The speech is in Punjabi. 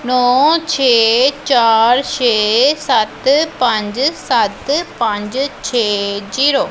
ਨੌ ਛੇ ਚਾਰ ਛੇ ਸਤ ਪੰਜ ਸੱਤ ਪੰਜ ਛੇ ਜ਼ੀਰੋ ।